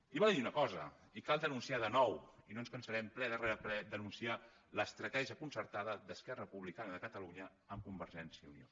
i val a dir una cosa i cal denunciar ho de nou i no ens cansarem ple rere ple de denunciar l’estratègia concertada d’esquerra republicana de catalunya amb convergència i unió